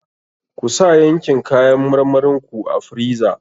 Kusa yankin kayan marmarin ku a friza.